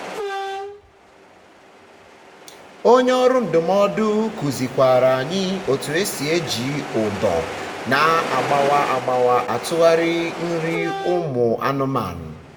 onye ọrụ ndụmọdụ kuzi kwara anyi otu esi eji ụdọ na agbawa agbawa atụgharị nri ụmụ anụmanụ